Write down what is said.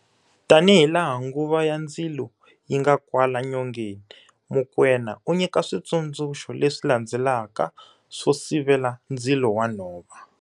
Tanihilaha nguva ya ndzilo yi nga kwala nyongeni, Mokoena u nyika switsundzuxo leswi landzelaka swo sivela ndzilo wa nhova-